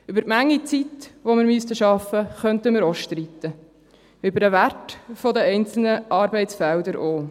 Über die Menge an Zeit, die wir arbeiten sollten, könnten wir auch streiten, über den Wert der einzelnen Arbeitsfelder auch.